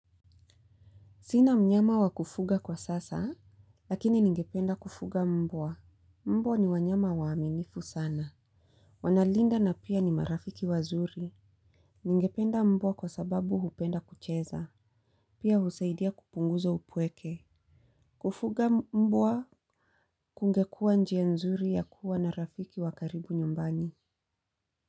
Sina mnyama wa kufuga kwa sasa, lakini ningependa kufuga mbwa. Mbwa ni wanyama waaminifu sana. Wanalinda na pia ni marafiki wazuri. Ningependa mbwa kwa sababu hupenda kucheza. Pia husaidia kupunguza upweke. Kufuga mbwa kungekua njia nzuri ya kuwa na rafiki wa karibu nyumbani.